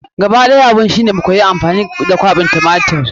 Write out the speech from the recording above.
Gaba ɗaya abun shi ne mu sa koyi amfani da kwaɓin tumatir.